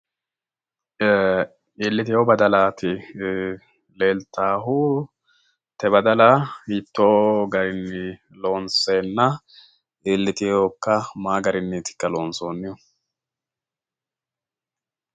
ee iliitino badalati leellitahu te badal hitonni garini loonsena iliiteoka mayi gariniti loonsonihu?